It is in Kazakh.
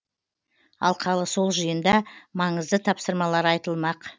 алқалы сол жиында маңызды тапсырмалар айтылмақ